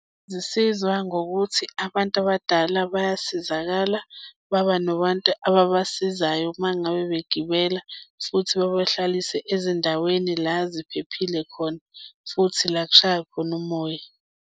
Zisizwa ngokuthi abantu abadala bayasizakala, baba nabantu ababasizayo uma ngabe begibela futhi bebahlalise ezindaweni la ziphephile khona futhi la kushaya khona umoya.